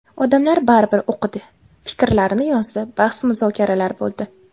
Odamlar baribir o‘qidi, fikrlarini yozdi, bahs-muzokaralar bo‘ldi.